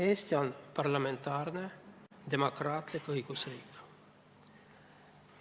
Eesti on parlamentaarne demokraatlik õigusriik.